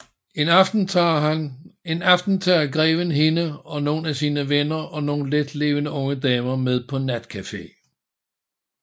En aften tager greven hende og nogle af sine venner og nogle letlevende unge damer med på natcafe